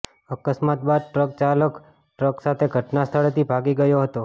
અકસ્માત બાદ ટ્રક ચાલક ટ્રક સાથે ઘટના સ્થળેથી ભાગી ગયો હતો